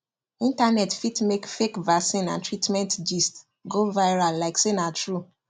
internet fit make fake vaccine and treatment gist go viral like say na true